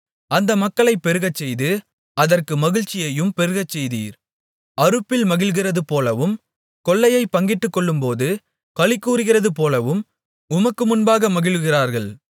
அந்த மக்களைப் பெருகச்செய்து அதற்கு மகிழ்ச்சியையும் பெருகச்செய்தீர் அறுப்பில் மகிழ்கிறதுபோலவும் கொள்ளையைப் பங்கிட்டுக்கொள்ளும்போது களிகூருகிறதுபோலவும் உமக்கு முன்பாக மகிழுகிறார்கள்